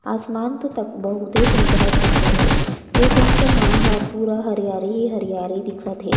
आसमान तो तक बहुते सुघघर-सुघघर हे ए दिन से मा ह पूरा हरियारी हरियर दिखत हे।